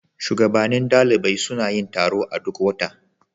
Shugabannin ɗalibai suna yin taro a duk wata.